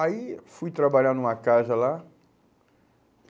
Aí fui trabalhar numa casa lá.